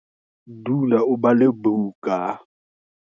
Dula o bale buka.